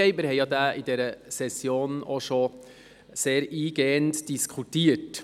Darüber haben wir in dieser Session denn auch sehr eingehend diskutiert.